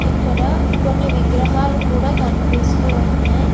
ఇక్కడ కొన్ని విగ్రహాలు కూడా కన్పిస్తూ ఉన్నాయ్.